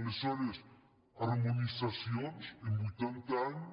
aleshores harmonitzacions en vuitanta anys